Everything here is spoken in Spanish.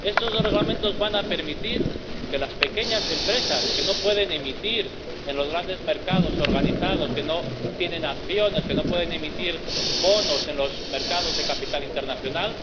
Estos dos Reglamentos van a permitir que las pequeñas empresas que, en los grandes mercados organizados, no tienen acciones, que no pueden emitir bonos en los mercados de capital internacional,